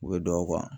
U bɛ don a kɔnɔ